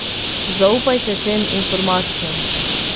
Zaupajte tem informacijam.